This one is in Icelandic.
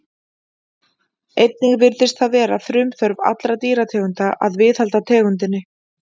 Einnig virðist það vera frumþörf allra dýrategunda að viðhalda tegundinni.